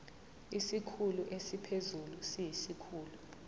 isikhulu esiphezulu siyisikhulu